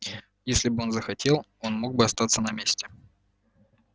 если бы он захотел он мог бы остаться на месте